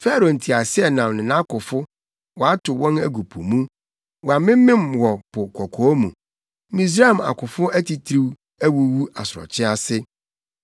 Farao nteaseɛnam ne nʼakofo, watow wɔn agu po mu. Wɔamemem wɔ Po Kɔkɔɔ mu. Misraim akofo atitiriw awuwu asorɔkye ase.